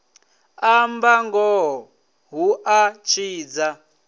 amba ngoho hu a tshidza